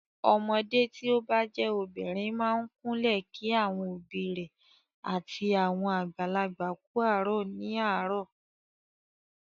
Ọmọdé tí o bá jẹ́ obìnrin máa ń kúnlẹ̀ kí àwọn òbí rẹ̀ àti àwọn àgbàlagbà kú àárọ̀ ní àárọ̀.